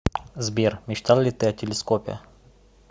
сбер мечтал ли ты о телескопе